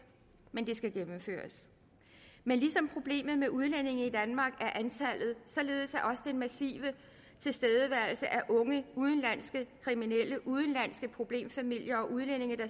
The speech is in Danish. men det skal gennemføres men ligesom problemet med udlændinge i danmark er antallet således er den massive tilstedeværelse af unge udenlandske kriminelle udenlandske problemfamilier og udlændinge der